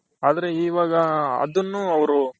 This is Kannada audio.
ಆದ್ರೆ ಇವಾಗ ಅದುನ್ನು ಅವರು